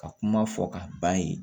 Ka kuma fɔ ka ban yen